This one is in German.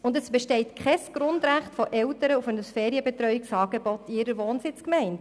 Für die Eltern besteht kein Grundrecht auf ein Ferienbetreuungsangebot in ihrer Wohnsitzgemeinde.